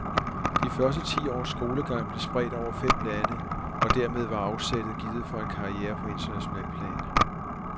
De første ti års skolegang blev spredt over fem lande, og dermed var afsættet givet for en karriere på internationalt plan.